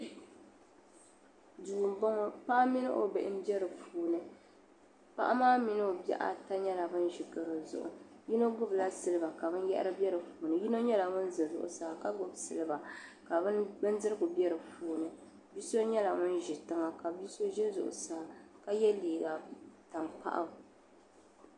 Duu m-bɔŋɔ paɣa mini o bihi m-be di puuni paɣa maa mini bihi ata maa zaa nyɛla ban ʒi garo zuɣu yino gbubila siliba ka binyɛhiri be di puuni yino nyɛla ŋun za zuɣusaa ka gbubi siliba ka bindirigu be di puuni bi'so nyɛla ŋun ʒi tiŋa ka bi'so ʒe zuɣusaa ka ye liiga tankpaɣu.